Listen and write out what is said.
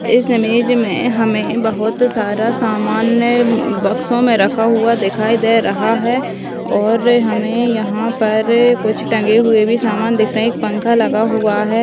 इस इमेज { हमे बहुत सारा सामान बक्सों में रखा हुआ दिखाई दे रहा है और हमे यहां पर टंगे हुए भी सामान दिख रहे है एक पंखा लगा हुआ है। }